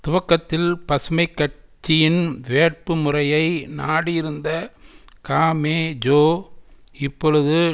துவக்கத்தில் பசுமை கட்சியின் வேட்பு முறையை நாடியிருந்த காமெஜோ இப்பொழுது